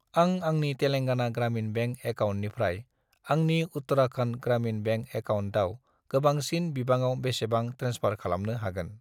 आं आंनि तेलांगाना ग्रामिन बेंक एकाउन्टनिफ्राय आंनि उत्तराखन्ड ग्रामिन बेंक एकाउन्टआव गोबांसिन बिबाङाव बेसेबां ट्रेन्सफार खालामनो हागोन?